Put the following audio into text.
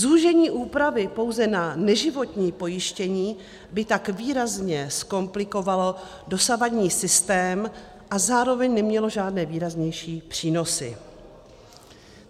"Zúžení výhrady pouze na neživotní pojištění by tak výrazně zkomplikovalo dosavadní systém a zároveň nemělo žádné výraznější přínosy."